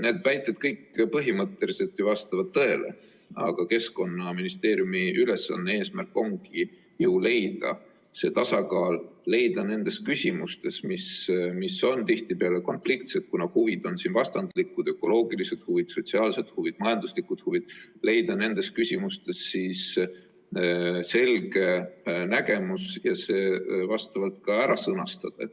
Need väited kõik põhimõtteliselt ju vastavad tõele, aga Keskkonnaministeeriumi ülesanne ja eesmärk ongi leida see tasakaal, leida nendes küsimustes, mis on tihtipeale konfliktsed, kuna huvid on siin vastandlikud – ökoloogilised huvid, sotsiaalsed huvid, majanduslikud huvid –, selge nägemus ja see ka ära sõnastada.